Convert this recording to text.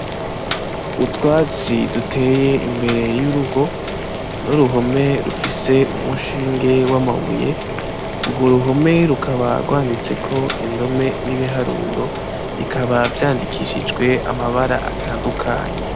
utwatsi duteye imbere y'urugo n'uruhome rufise umushinge w'amabuye urwo ruhome rukaba rwanditseko indome n'ibiharuro bikaba vyandikishijwe amabara atandukanye.